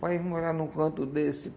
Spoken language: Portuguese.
Pai, eu vou morar num canto desse.